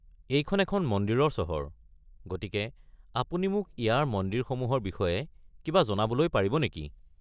এইখন এখন মন্দিৰৰ চহৰ, গতিকে আপুনি মোক ইয়াৰ মন্দিৰসমূহৰ বিষয়ে কিবা জনাবলৈ পাৰিব নেকি?